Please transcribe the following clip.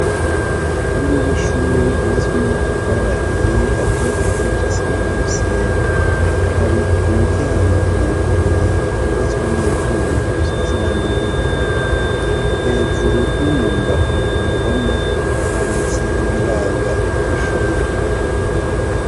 Kurugo rw'ishuri wubatswa n'amatafarahiye ateye igipanda ci simaa n'umusenyi hari umuryango wuguruye wubatswa n'ivyuma usize iranga iry'ubururu hejuru no mu mbavu ku ruhome handitse ibiranga iryo shuri.